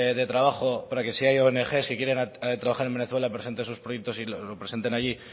de trabajo para que si hay ong que quieren trabajar en venezuela presenten sus proyectos los presentes allí